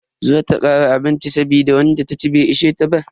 Za ta kara abinci saboda wanda taci bai ishe ta ba.